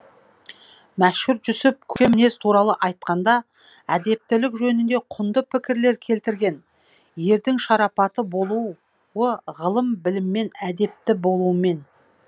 мәшһүр жүсіп көркем мінез туралы айтқанда әдептілік жөнінде құнды пікірлер келтірген ердің шарапатлы болуы ғылым біліммен әдепті болумен